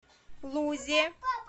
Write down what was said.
лузе